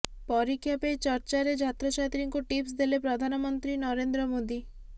ପରୀକ୍ଷା ପେ ଚର୍ଚ୍ଚା ରେ ଛାତ୍ରଛାତ୍ରୀଙ୍କୁ ଟିପ୍ସ ଦେଲେ ପ୍ରଧାନମନ୍ତ୍ରୀ ନରେନ୍ଦ୍ର ମୋଦୀ